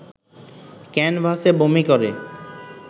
ক্যানভাসে বমি করে